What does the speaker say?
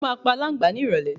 Mo máa pa alàǹgbà ni ìrólé